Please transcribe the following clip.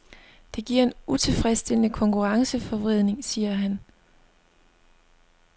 Det giver en utilfredsstillende konkurrenceforvridning, siger han.